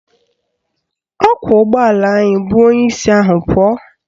Ọkwọụgbọala bu onyeisi ahụ pụọ